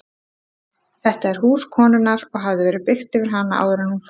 Þetta er hús konunnar og hafði verið byggt yfir hana áður en hún fór.